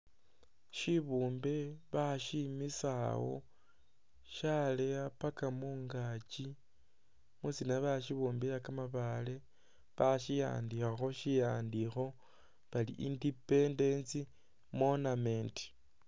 Shibumbe bashimisa awo shaleya papa mungakyi mwisina bashibumbila ka mabaale bashi'andikhakho shi'andikho bari independence monument.